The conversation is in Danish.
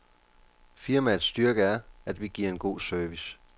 Firmaets styrke er, at vi giver en god service.